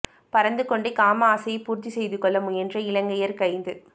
பறந்து கொண்டே காம ஆசையை பூர்த்தி செய்துகொள்ள முயன்ற இலங்கையர் கைது